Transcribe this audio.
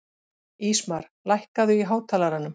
Ísmar, lækkaðu í hátalaranum.